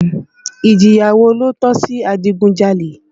Ìjìyà wo ló tọ́ sí adigunjalè?